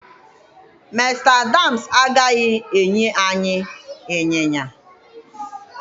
Mr Adams agaghị enye anyị ịnyịnya